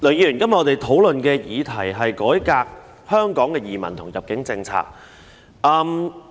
梁議員，今天討論的議題是"改革移民及入境政策"。